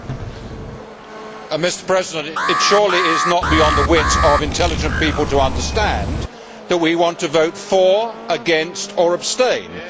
Mr President, it is surely not beyond the wit of intelligent people to understand that we want to vote for, against or abstain, as we do normally.